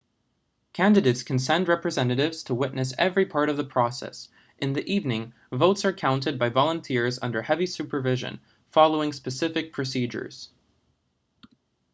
candidates can send representatives to witness every part of the process in the evening votes are counted by volunteers under heavy supervision following specific procedures